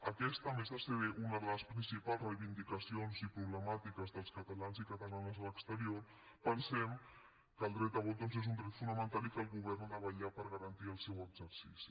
en aquesta a més de ser una de les principals reivindicacions i problemàtiques dels catalans i catalanes a l’exterior pensem que el dret a vot doncs és un dret fonamental i que el govern ha de vetllar per garantir el seu exercici